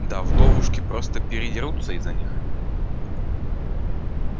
да вдовушки просто передерутся из-за них